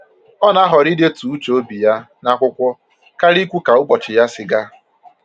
Ọ na-ahọrọ idetu uche obi ya n'akwụkwọ karịa ikwu ka ụbọchị ya si gaa